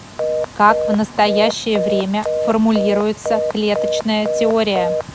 как в настоящее время формулируется клеточная теория